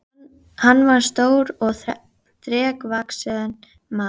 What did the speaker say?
Hann var stór og þrekvaxinn maður.